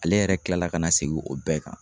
Ale yɛrɛ kila la ka na segin o bɛɛ kan.